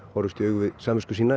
horfast í augu við samvisku sína